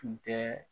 Tun tɛ